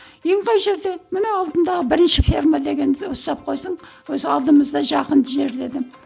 үйің қай жерде міне алдымдағы бірінші ферма деген совхоздың өзі алдымызда жақын жер дедім